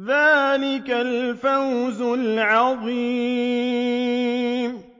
ذَٰلِكَ الْفَوْزُ الْعَظِيمُ